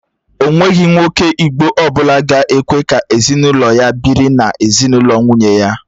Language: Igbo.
Ènweghi nwoke Igbo ọbụla ga-ekwe ka ezinụlọ ya biri n'ezinụlọ nwunye ya